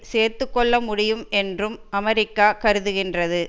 சேர்த்து கொள்ள முடியும் என்றும் அமெரிக்கா கருதுகின்றது